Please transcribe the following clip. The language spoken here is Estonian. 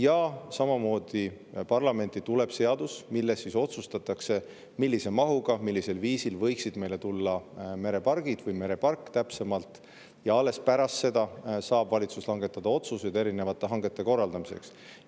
Ja samamoodi, parlamenti tuleb seadus ja siis otsustatakse, millises mahus, millisel viisil võiksid meile tulla merepargid või merepark, täpsemalt, ja alles pärast seda saab valitsus langetada otsuseid erinevate hangete korraldamiseks.